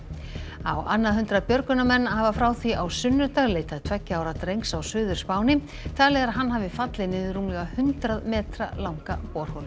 á annað hundrað björgunarmenn hafa frá því á sunnudag leitað tveggja ára drengs á Suður Spáni talið er að hann hafi fallið niður rúmlega hundrað metra langa borholu